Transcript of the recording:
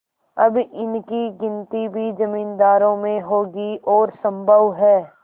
अब इनकी गिनती भी जमींदारों में होगी और सम्भव है